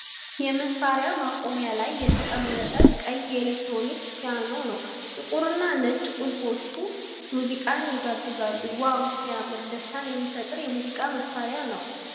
የመሳሪያ ማቆሚያ ላይ የተቀመጠ ቀይ የኤሌክትሮኒክስ ፒያኖ ነው ። ጥቁርና ነጭ ቁልፎቹ ሙዚቃን ይጋብዛሉ ። ዋው ሲያምር ! ደስታን የሚፈጥር የሙዚቃ መሣሪያ ነው ።